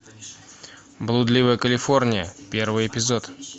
блудливая калифорния первый эпизод